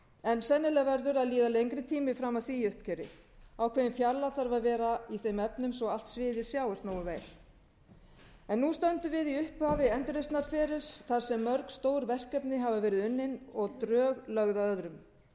en sennilega verður að líða lengri tími fram að því uppgjöri ákveðin fjarlægð þarf að vera í þeim efnum svo allt sviðið sjáist nógu vel en nú stöndum við í upphafi endurreisnarferlis þar sem mörg stór verkefni hafa verið unnin og drög lögð að öðrum